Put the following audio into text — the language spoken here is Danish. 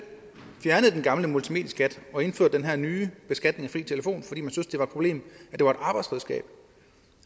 fjernet den gamle multimedieskat og indført den her nye beskatning af fri telefon fordi man synes det var et problem at det var et arbejdsredskab